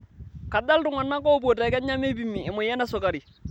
Kaja iltung'ana te Kenya oopuo meipimi emoyian esukari?